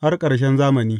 har ƙarshen zamani.